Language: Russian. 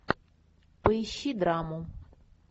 поищи драму